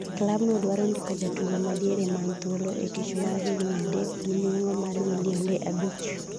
klabno dwaro ndiko jatugo ma diere man thuolo e tich mar higni adek gi nweng'o mar milionde abich